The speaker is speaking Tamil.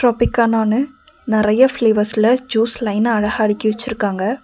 பிக்கானானு நெறைய ஃபிளேவர்ஸ்ல ஜூஸ் லைனா அழகா அடுக்கி வச்சிருக்காங்க.